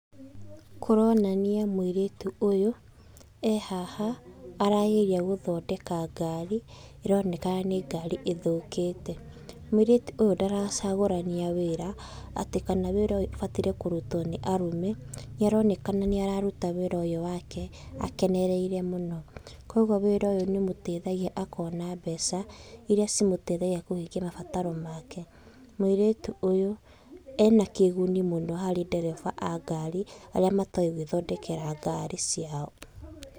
Kũronania mũirĩtu ũyũ e haha arageria gũthondeka ngari ĩronekana nĩ ngari ĩthũkĩte. Mũirĩtu ũyũ ndaracagũrania wĩra atĩ kana wĩra ũyũ ũbataire kũrutwo nĩ arũme nĩaronekana nĩ araruta wĩra ũyũ wake akenereire mũno. Kwoguo wĩra ũyũ nĩ ũmũteithagia akona mbeca iria cimũtethagia kũhingia mabataro make. Mũirĩtu ũyũ ena kĩguni mũno harĩ ndereba a ngari aria matoĩ gwĩthondekera ngari ciao.